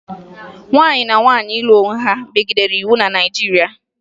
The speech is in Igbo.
Nwanyị na nwaanyị ịlụ onwe ha megidere iwu na Naịjirịa